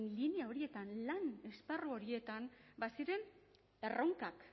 linea horietan lan esparru horietan baziren erronkak